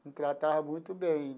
me tratava muito bem.